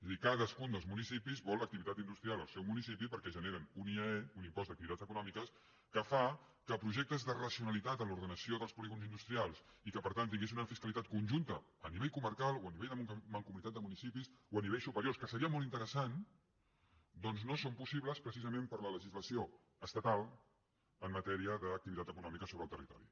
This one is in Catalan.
és a dir cadascun dels municipis vol activitat industrial al seu municipi perquè generen un iae un impost d’activitats econòmiques que fa que projectes de racionalitat en l’ordenació dels polígons industrials i que per tant tinguessin una fiscalitat conjunta a nivell comarcal o a nivell de mancomunitat de municipis o a nivells superiors que seria molt interessant doncs no són possibles precisament per la legislació estatal en matèria d’activitat econòmica sobre el territori